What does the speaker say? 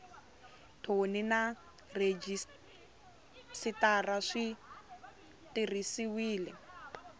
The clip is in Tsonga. thoni na rhejisitara swi tirhisiwile